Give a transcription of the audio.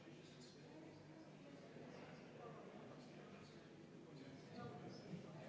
Täpselt samamoodi nagu varem olen sunnitud tõdema, et tegemist on põhiseadusevastase eelnõuga.